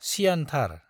सियानथार।